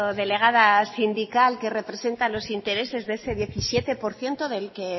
delegada sindical que representa los intereses de ese diecisiete por ciento del que